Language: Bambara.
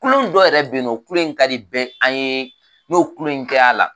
Kulon dɔ yɛrɛ bɛn yen nɔ o kulon in ka di bn an ye n'o kulon in kɛr'a la